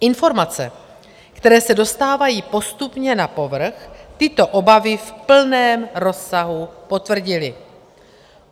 Informace, které se dostávají postupně na povrch, tyto obavy v plném rozsahu potvrdily.